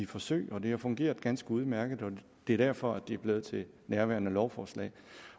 forsøg og det har fungeret ganske udmærket og det er derfor at det er blevet til nærværende lovforslag